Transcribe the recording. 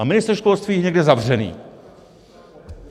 A ministr školství je někde zavřený.